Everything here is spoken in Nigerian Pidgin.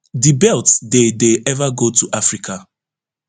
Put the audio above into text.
di belts dey dey ever go to africa